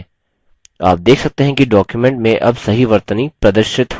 आप देख सकते हैं कि document में अब सही वर्तनी प्रदर्शित हो रही है